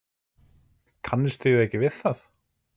Kannist þið ekki við það?